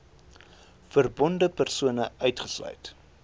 verbonde persone uitgesluit